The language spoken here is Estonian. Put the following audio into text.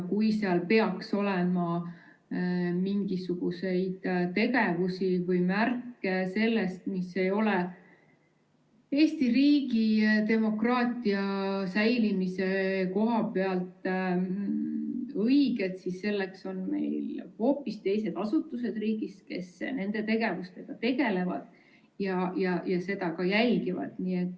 Kui seal peaks olema mingisuguseid tegevusi või märke sellest, mis ei ole Eesti riigi demokraatia säilimise koha pealt õiged, siis selleks on meil hoopis teised asutused riigis, kes sellega tegelevad ja seda ka jälgivad.